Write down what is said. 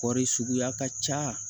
Kɔɔri suguya ka ca